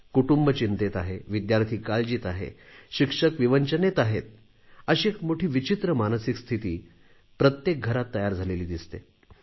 कुटुंब चिंतेत आहे विद्यार्थी काळजीत आहे शिक्षक विवंचनेत आहेत अशी एक मोठी विचित्र मानसिक स्थिती प्रत्येक घरात तयार झालेली दिसते